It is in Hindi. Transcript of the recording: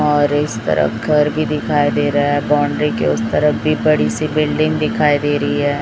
और इस तरफ घर भी दिखाई दे रहा है बाउण्ड्री के उस तरफ भी बड़ी सी बिल्डिंग दिखाई दे रही है।